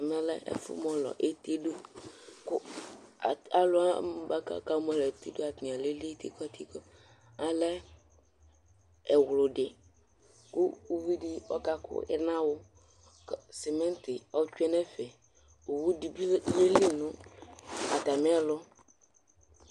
ɛmɛ lɛ ɛfu mɔlɔ eti do ko alò wani boa ko aka mɔlɔ eti do yɛ atani alili tikɔtikɔ alɛ ɛwlodi kò uvi di ɔka ko ɛnawo kò simint otsue n'ɛfɛ owu di bi yeli no atamiɛlu